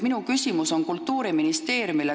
Minu küsimus on Kultuuriministeeriumile.